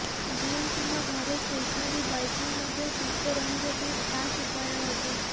gym କିମ୍ବା ଘରେ stationary biking ମଧ୍ୟ ସୁସ୍ଥ ରହିବା ପାଇଁ ଖାସ୍ ଉପାୟ ଅଟେ